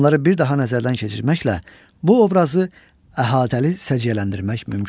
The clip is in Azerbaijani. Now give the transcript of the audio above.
Bunları bir daha nəzərdən keçirməklə bu obrazı əhatəli səciyyələndirmək mümkündür.